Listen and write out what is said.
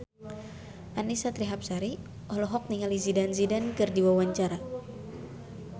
Annisa Trihapsari olohok ningali Zidane Zidane keur diwawancara